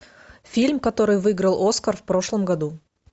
фильм который выиграл оскар в прошлом году